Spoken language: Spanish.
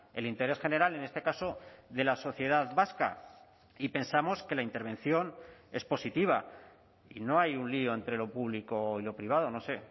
el interés general en este caso de la sociedad vasca y pensamos que la intervención es positiva y no hay un lío entre lo público y lo privado no sé